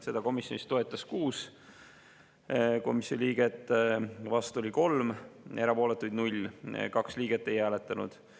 Seda toetas 6 komisjoni liiget, vastu oli 3, erapooletuid 0 ja 2 liiget ei hääletanud.